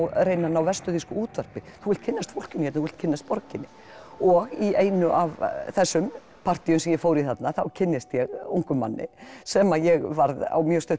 reyna að ná vestur þýsku útvarpi þú vilt kynnast fólkinu hérna þú vilt kynnast borginni og í einu af þessum partýum sem ég fór í þarna kynnist ég ungum manni sem ég varð á mjög stuttum